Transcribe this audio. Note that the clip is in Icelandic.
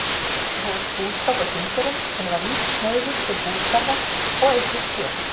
Hóf búskap á Þingeyrum, en var lítt hneigður til bústarfa og eyddist fé.